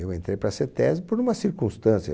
Eu entrei para a CETESBI por uma circunstância.